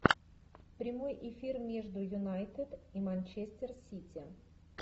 прямой эфир между юнайтед и манчестер сити